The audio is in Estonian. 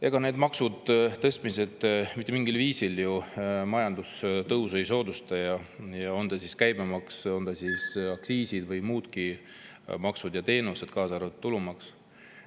Ega need maksutõstmised mitte mingil viisil ju majandustõusu ei soodusta, tõusku siis käibemaks, tõusku aktsiisid või muudki maksud, kaasa arvatud tulumaks.